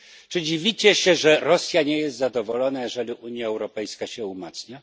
Czy dziwicie się, że Rosja nie jest zadowolona, jeżeli Unia Europejska się umacnia?